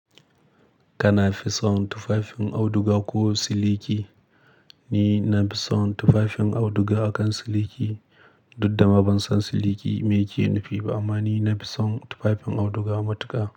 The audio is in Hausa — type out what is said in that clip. Kana fison tufafin auduga ko siliki? Ni na fi son tufafin auduga akan siliki, duddama ban san siliki meke nufi ba, amma ni na fi son tufafin auduga matuka.